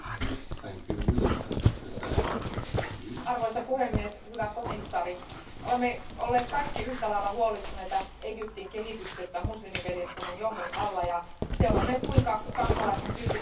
Arvoisa puhemies, hyvä komissaari, olemme olleet kaikki yhtälailla huolestuneita Egyptin kehityksestä muslimiveljeskunnan johdon alla ja seuranneet, kuinka kansalaisten tyytymättömyys sen hallintoa kohtaan kasvoi kasvamistaan.